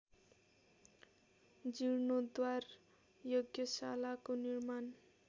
जीर्णोद्धार यज्ञशालाको निर्माण